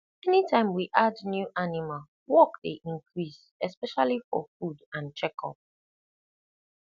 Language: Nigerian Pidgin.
anytime we add new animal work dey increase especially for food and checkup